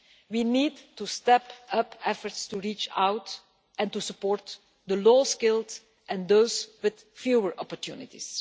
We need to step up efforts to reach out and to support the low skilled and those with fewer opportunities.